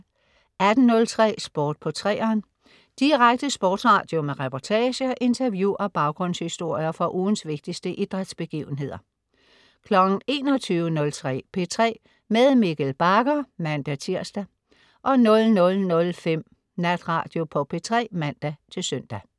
18.03 Sport på 3'eren. Direkte sportsradio med reportager, interview og baggrundshistorier fra ugens vigtigste idrætsbegivenheder 21.03 P3 med Mikkel Bagger (man-tirs) 00.05 Natradio på P3 (man-søn)